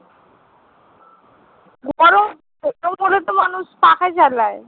গরম বলে তো মানুষ পাখা চালায়।